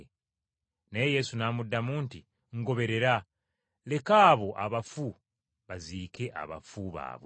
Naye Yesu n’amuddamu nti, “Ngoberera! Leka abo abafu baziike abafu baabwe.”